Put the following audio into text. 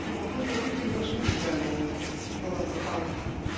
Lakin 30 qəpik bir mövsüm üçün təyin olunubdur, hal-hazırda tariflər.